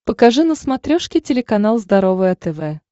покажи на смотрешке телеканал здоровое тв